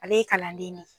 Ale ye kalanden de ye